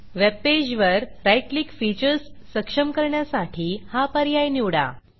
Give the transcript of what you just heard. webpage वर right click features सक्षम करण्यासाठी हा पर्याय निवडा